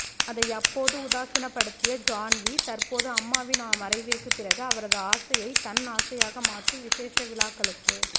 அதை அப்போது உதாசீனப்படுத்திய ஜான்வி தற்போது அம்மாவின் மறைவிற்கு பிறகு அவரது ஆசையை தன் ஆசையாக மாற்றி விஷேஷ விழாக்களுக்கு